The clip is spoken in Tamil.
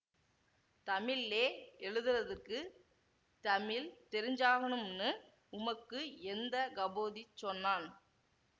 தமிழ்லே எழுதறதுக்குத் தமிழ் தெரிஞ்சாகணும்னு உமக்கு எந்த கபோதி சொன்னான்